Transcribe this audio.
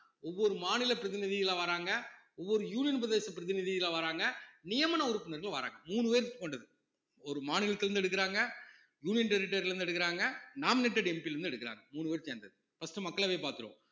ஒவ்வொரு மாநில பிரதிநிதிகளா வர்றாங்க ஒவ்வொரு union பிரதேச பிரதிநிதிகளா வர்றாங்க நியமன உறுப்பினர்கள் வர்றாங்க மூணு பேர் கொண்டது ஒரு மாநிலத்தில இருந்து எடுக்குறாங்க union territory ல இருந்து எடுக்குறாங்க nominatedMP ல இருந்து எடுக்குறாங்க மூணு பேரும் சேர்ந்தது first உ மக்களவை பார்த்துருவோம்